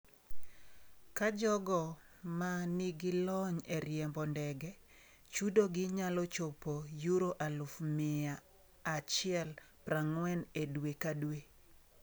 Ka jogo ma nigi lony e riembo ndege, chudogi nyalo chopo euro aluf mia achiel prang'wen e dwe ka dwe.